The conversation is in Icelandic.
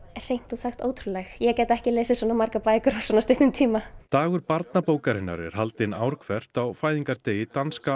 hreint út sagt ótrúleg ég gæti ekki lesið svona margar bækur á svona stuttum tíma dagur barnabókarinnar er haldinn ár hvert á fæðingardegi danska